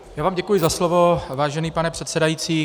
Já vám děkuji za slovo, vážený pane předsedající.